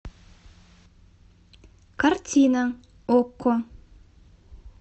картина окко